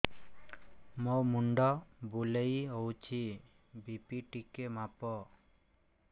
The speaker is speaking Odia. ମୋ ମୁଣ୍ଡ ବୁଲେଇ ହଉଚି ବି.ପି ଟିକେ ମାପ